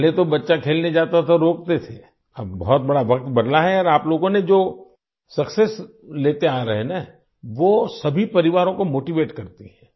पहले तो बच्चा खेलने जाता था तो रोकते थे और अब बहुत बड़ा वक्त बदला है और आप लोगों ने जो सक्सेस लेते आ रहे हैं न वो सभी परिवारों को मोटीवेट करती है